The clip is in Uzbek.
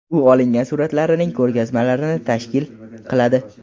U olingan suratlarining ko‘rgazmalarini tashkil qiladi.